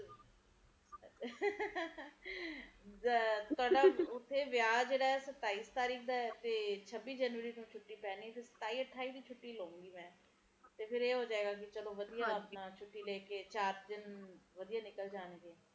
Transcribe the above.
ਤੇ ਮੁੜਕੇ ਮੌਸਮ ਵਧੀਆ ਹੋ ਜਾਂਦਾ ਸੀਗਾ ਤਾ ਹੁਣ ਤਾ ਉਹ ਮੌਸਮ ਨਹੀਂ ਰਹੇ ਹੁਣ ਤਾ ਅਕਤੂਬਰ ਨਵੰਬਰ ਤਕ ਆਪਣੇ ਕੋਲ ਗਰਮੀ ਇੱਕ ਮਿੰਟ ਨਹੀਂ ਬੰਦ ਹੁੰਦੇ ਪੂਰੀ ਜੀ ਪੂਰੀ